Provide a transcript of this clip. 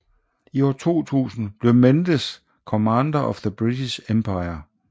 I 2000 blev Mendes Commander of The British Empire